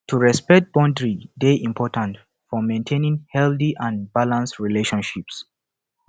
to respect boundary dey important for maintaining healthy and balanced relationships